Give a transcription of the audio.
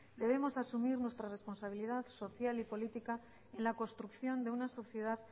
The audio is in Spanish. debemos asumir nuestra responsabilidad social y política en la construcción de una sociedad